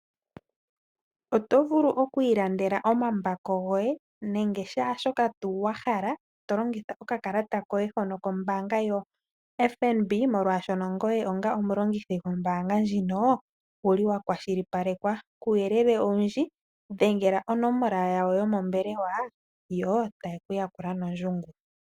Oto vulu oku ilandela omambako goye nakehe shimwe shoka wahala tolongitha okakalata koye hono kombaanga yoFNB, molwashoka ngoye owuli wakwashilipalekwa. Uuyelele owundji dhengela onomola yawo yomombwelewa yo taye kuyakula nondungu.